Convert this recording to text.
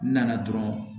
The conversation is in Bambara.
N nana dɔrɔn